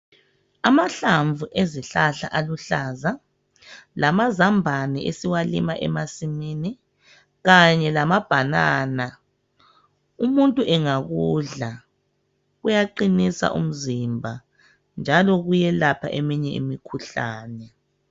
Amahlamvu ezihlahla aluhlaza lamazambani esiwalima emasimini kanye lamabhanana, umuntu engakudla kuyaqinisa umzimba njalo kuyelapha eminye imikhuhlane.